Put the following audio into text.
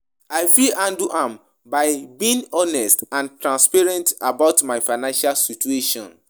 I fit handle am by being honest and transparent about my financial situation.